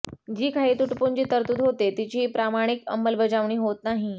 जी काही तुटपुंजी तरतूद होते तिचीही प्रामाणिक अंमलबजावणी होत नाही